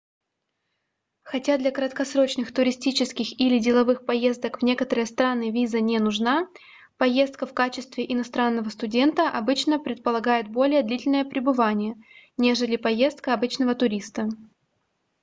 хотя для краткосрочных туристических или деловых поездок в некоторые страны виза не нужна поездка в качестве иностранного студента обычно предполагает более длительное пребывание нежели поездка обычного туриста